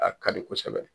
A ka di kosɛbɛ